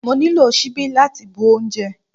Mo nílò ṣíbí láti bu oúnjẹ.